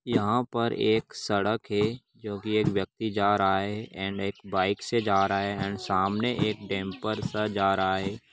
यहाँ पर एक सड़क है जो की एक व्यक्ति जा रहा है एण्ड एक बाइक से जा रहा है एण्ड सामने एक डेंपर सा जा रहा है।